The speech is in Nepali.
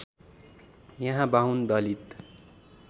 यहाँ बाहुन दलित